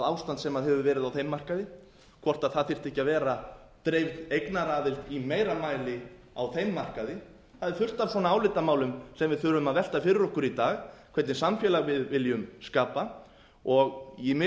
ástand sem hefur verið á þeim markaði hvort það þyrfti ekki að vera dreifð eignaraðild á þeim markaði það er fullt af svona álitamálum sem við þurfum að velta fyrir okkur í dag hvernig samfélag við viljum skapa mig